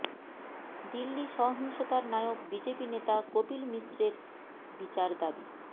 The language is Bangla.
দিল্লি সহিংসতার নায়ক বিজেপি নেতা কপিল মিশ্রের বিচার দাবি